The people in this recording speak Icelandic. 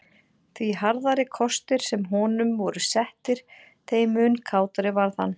Því harðari kostir sem honum voru settir þeim mun kátari varð hann.